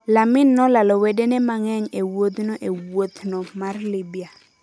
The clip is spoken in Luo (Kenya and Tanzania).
Lamin nolalo wedene mang'eny e wuodhno e wuothno mar Libya: